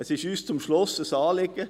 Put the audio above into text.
Es ist uns zum Schluss ein Anliegen: